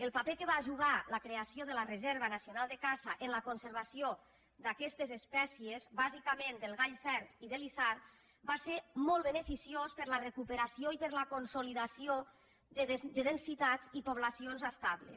el paper que va jugar la creació de la reserva nacional de caça en la conservació d’aquestes espècies bàsica·ment del gall fer i de l’isard va ser molt beneficiós per a la recuperació i per a la consolidació de densitats i poblacions estables